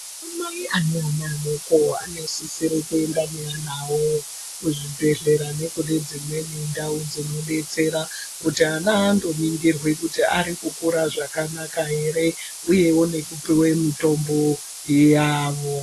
Ana mai ane ana adoko anosisire kuenda neana awo kuzvibhedhlera, nekune dzimweni ndau dzinodetsera kuti ana andoningirwe kuti ari kukurazvakanaka ere, uyewo nekupuwe mitombo yawo.